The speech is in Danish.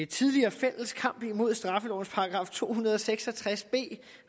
tidligere fælles kamp imod straffelovens § to hundrede og seks og tres b